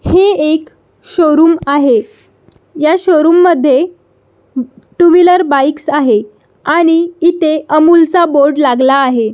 ही एक शोरूम आहे ह्या शोरूम मध्ये टू व्हीलर बाइकस आहे आणि इथे अमूल चा बोर्ड लागला आहे.